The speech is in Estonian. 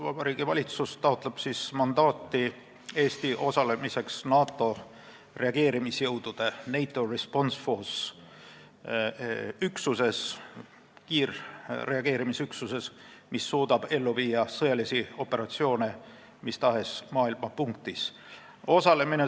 Vabariigi Valitsus taotleb mandaati Eesti osalemiseks NATO reageerimisjõudude kiirreageerimisüksuses, mis suudab ellu viia sõjalisi operatsioone mis tahes maailma punktis.